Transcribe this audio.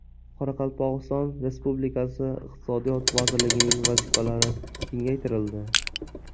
Qoraqalpog‘iston Respublikasi Iqtisodiyot vazirligining vazifalari kengaytirildi.